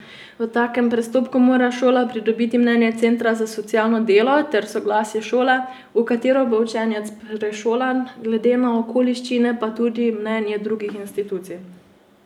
V tem postopku mora šola pridobiti mnenje centra za socialno delo ter soglasje šole, v katero bo učenec prešolan, glede na okoliščine pa tudi mnenje drugih institucij.